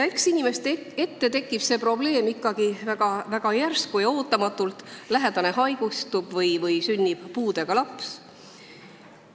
Eks inimeste ette kerkib see probleem ikkagi väga järsku ja ootamatult: lähedane haigestub või sünnib puudega laps.